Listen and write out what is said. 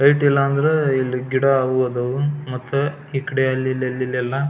Rate ಇಲ್ಲಾಂದ್ರೆ ಇಲ್ಲಿ ಗಿಡ ಹೂ ಆದವು ಮತ್ತ ಈ ಕಡೆ ಅಲ್ಲಿ ಇಲ್ ಎಲ್ಲ.